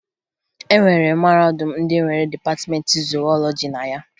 E nwere mahadum ndị nwere dịpatịmeentị zuwọlọji na ya